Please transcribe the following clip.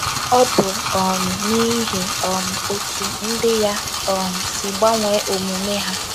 Ọ bụ um n’ihi um otú ndị ya um si gbanwee omume ha.